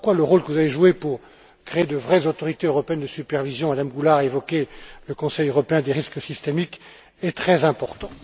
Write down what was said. Voilà pourquoi le rôle que vous avez joué pour créer de vraies autorités européennes de supervision Mme Goulard a évoqué le comité européen du risque systémique est très important.